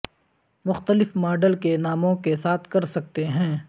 مختلف ماڈل کے ناموں کے ساتھ کر سکتے ہیں